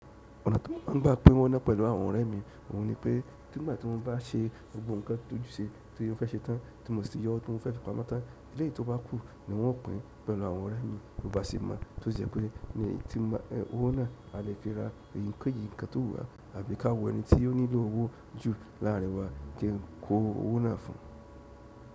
Ọ̀nà tí mo máà ń gbà pín owó ná pẹ̀lú àwọn ọ̀rẹ́ mi, òun ni pé nígbà tí mo bá ṣe gbogbo nǹkan tó ju ṣe tí ó fẹ́ ṣe tán, tí mo sì ti yọ ohun tí mo fẹ́ fi pamọ́ tán, eléyì tó bá kú ni wọ́n ó pín pẹ̀lú àwọn ọ̀rẹ́ mi. Bó bá ṣe mo, tó sì jẹ́ pé mi, tí n bá, e owó na a lè fi ra eyikeyi ǹkan tó wù ra àbí ká wo ẹni tí o nílò owó jù láàrin wa kí n kó owó náà fún.